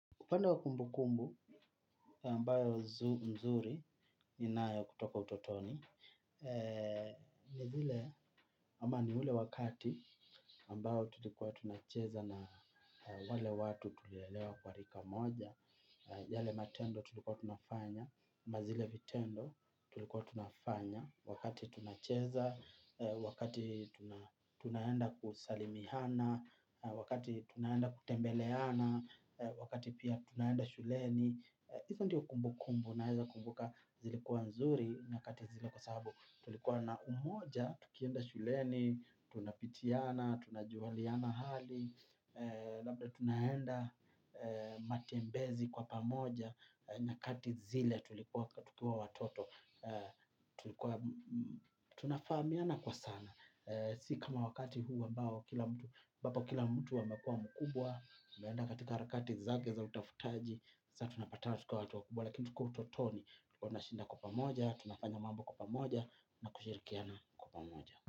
Upande wa kumbukumbu ambazo nzuri ninayo kutoka utotoni. Ni zile ama ni ule wakati ambao tulikuwa tunacheza na wale watu tulilelewa kwa rika moja. Yale matendo tulikuwa tunafanya. Na zile vitendo tulikuwa tunafanya. Wakati tunacheza, wakati tunaenda kusalimiana, wakati tunaenda kutembeleana, wakati pia tunaenda shuleni hizo ndio kumbu kumbu naeza kumbuka zilikuwa nzuri nyakati zile kwa sababu tulikuwa na umoja tukienda shuleni tunapitiana, tunajuliana hali labda tunaenda matembezi kwa pamoja nyakati zile tulikuwa watoto tunafahamiana kwa sana si kama wakati huu ambapo kila mtu amekuwa mkubwa ameenda katika harakati zake za utafutaji sa tunapata tukiwa watu wakubwa. Lakini tukiwa utotoni tulikuwa tunashinda kwa pamoja, tunafanya mambo kwa pamoja, na kushirikiana kwa pamoja.